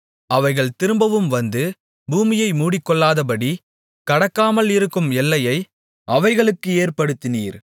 அவைகள் திரும்பவும் வந்து பூமியை மூடிக்கொள்ளாதபடி கடக்காமல் இருக்கும் எல்லையை அவைகளுக்கு ஏற்படுத்தினீர்